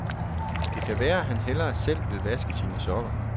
Det kan være, han hellere selv vil vaske sine sokker.